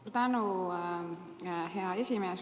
Suur tänu, hea esimees!